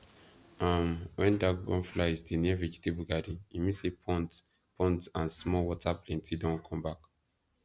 um when dragonflies dey near vegetable garden e mean say ponds ponds and small water plenty don come back